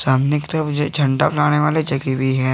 सामने की तरफ झंडा बनाने वाला जगह भी है।